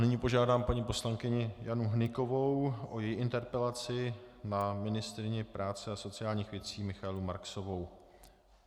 Nyní požádám paní poslankyni Janu Hnykovou o její interpelaci na ministryni práce a sociálních věcí Michaelu Marksovou.